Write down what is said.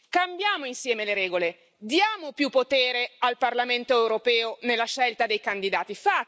Cambiamo insieme le regole diamo più potere al Parlamento europeo nella scelta dei candidati.